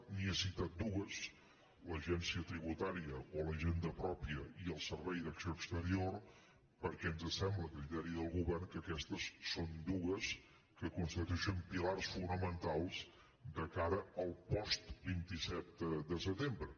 li n’he citat dues l’agència tributària o la hisenda prò·pia i el servei d’acció exterior perquè ens sembla a criteri del govern que aquestes són dues que cons·titueixen pilars fonamentals de cara al post·vint set de se·tembre